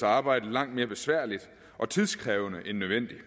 arbejde langt mere besværligt og tidkrævende end nødvendigt